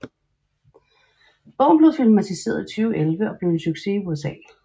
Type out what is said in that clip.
Bogen blev filmatiseret i 2011 og blev en succes i USA